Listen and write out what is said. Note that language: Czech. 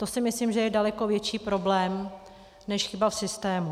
To si myslím, že je daleko větší problém než chyba v systému.